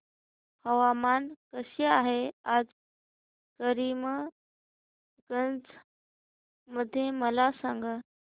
हवामान कसे आहे आज करीमगंज मध्ये मला सांगा